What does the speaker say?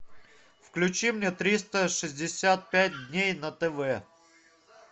включи мне триста шестьдесят пять дней на тв